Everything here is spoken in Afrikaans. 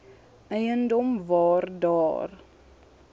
eiendom waar daar